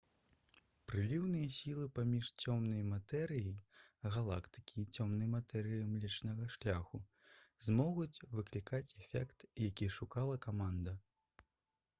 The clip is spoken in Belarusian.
прыліўныя сілы паміж цёмнай матэрыяй галактыкі і цёмнай матэрыяй млечнага шляху змогуць выклікаць эфект які шукала каманда